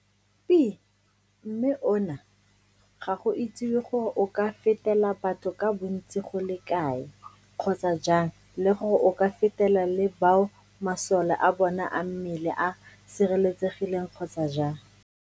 Pi, mme ona ga go itsiwe gore o ka fetela batho ka bontsi go le kae kgotsa jang le gore o ka fetela le bao masole a bona a mmele a sireletsegileng kgotsa jang.